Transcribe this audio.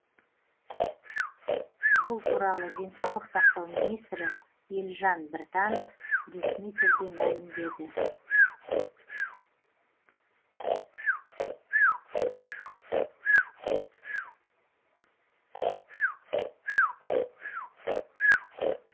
бұл туралы денсаулық сақтау министрі елжан біртанов ресми түрде мәлімдеді